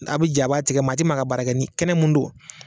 A' bi jɛ a' b'a tigɛ maa ti maa ka baara kɛ ni kɛnɛ mun don